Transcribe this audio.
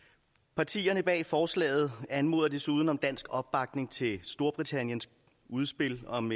partierne bag forslaget anmoder desuden om dansk opbakning til storbritanniens udspil om